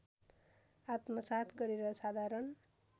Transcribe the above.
आत्मसात् गरेर साधारण